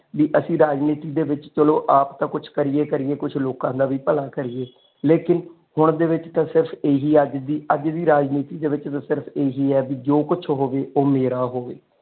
ਅਸੀਂ ਰਾਜਨੀਤੀ ਦੇ ਵਿੱਚ ਚਲੋ ਆਪ ਤਾਂ ਕੁੱਛ ਕਰੀਏ ਕਰੀਏ ਕੁਛ ਲੋਕ ਦਾ ਵੀ ਭਲਾ ਕਰੀਏ, ਲੇਕਿਨ ਹੁਣ ਦੇ ਵਿਚ ਤੇ ਸਿਰਫ ਇਹੀ ਹੈ ਅੱਜ ਦੀ ਅੱਜ ਦੀ ਰਾਜਨੀਤੀ ਦੇ ਵਿਚ ਸਿਰਫ ਇਹੀ ਹੈ ਬਈ ਜੋ ਕੁਛ ਹੋਵੇ ਉਹ ਮੇਰਾ ਹੋਵੇ।